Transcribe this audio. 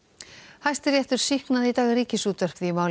Hæstiréttur sýknaði í dag Ríkisútvarpið í máli